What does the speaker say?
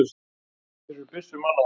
Hér eru byssur mannaðar!